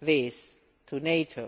this to NATO.